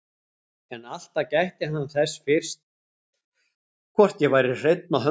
En alltaf gætti hann þess fyrst hvort ég væri hreinn á höndunum.